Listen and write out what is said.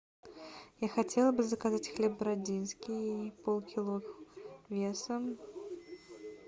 я хотела бы заказать хлеб бородинский пол кило весом